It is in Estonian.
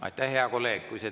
Aitäh, hea kolleeg!